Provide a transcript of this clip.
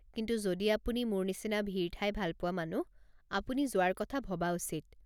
কিন্তু যদি আপুনি মোৰ নিচিনা ভিৰ ঠাই ভাল পোৱা মানুহ, আপুনি যোৱাৰ কথা ভবা উচিত।